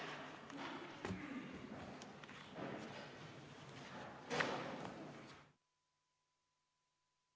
Istungi lõpp kell 15.37.